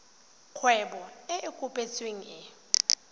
kgwebo e e kopetsweng e